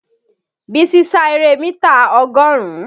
Bísí sá eré mítà ọgọ́rùn-ún